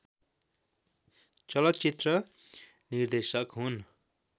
चलचित्र निर्देशक हुन्